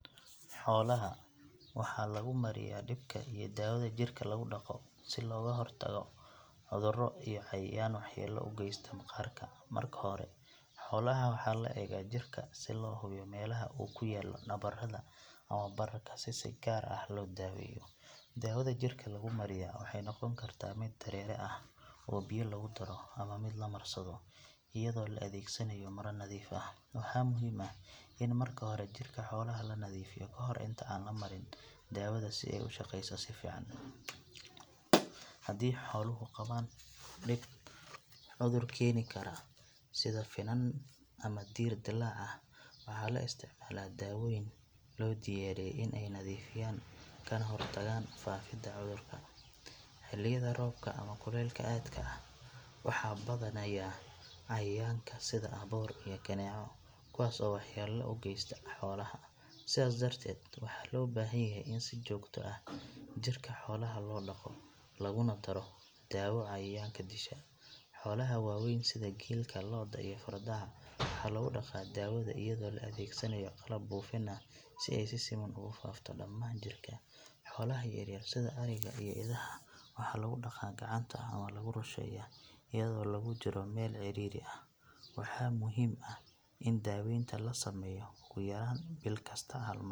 Xoolaha waxaa lagu mariyaa dhibka iyo dawada jirka lagu dhaqo si looga hortago cudurro iyo cayayaan waxyeelo u geysta maqaarka. Marka hore xoolaha waxaa la eegaa jirka si loo hubiyo meelaha uu ku yaallo nabarrada ama bararka si si gaar ah loo daweeyo. Dawada jirka lagu mariyaa waxay noqon kartaa mid dareere ah oo biyo lagu daro ama mid la marsado iyadoo la adeegsanayo maro nadiif ah. Waxaa muhiim ah in marka hore jirka xoolaha la nadiifiyo ka hor inta aan la marin daawada si ay u shaqeyso si fiican. Haddii xooluhu qabaan dhib cudur keeni kara sida finan ama diir dilaac ah, waxaa la isticmaalaa daawooyin loo diyaariyey in ay nadiifiyaan kana hortagaan faafidda cudurka. Xilliyada roobka ama kulaylka aadka ah, waxaa badanaya cayayaanka sida aboor iyo kaneeco kuwaas oo waxyeello u geysta xoolaha, sidaas darteed waxaa loo baahan yahay in si joogto ah jirka xoolaha loo dhaqo laguna daro daawo cayayaanka disha. Xoolaha waaweyn sida geelka lo’da iyo fardaha waxaa lagu dhaqa daawada iyadoo la adeegsanayo qalab buufin ah si ay si siman ugu faafto dhammaan jirka. Xoolaha yaryar sida ariga iyo idaha waxaa lagu dhaqa gacanta ama lagu rusheeyaa iyadoo lagu jiro meel cidhiidhi ah. Waxaa muhiim ah in daaweynta la sameeyo ugu yaraan bil kasta hal mar .